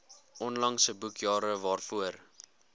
onlangse boekjare waarvoor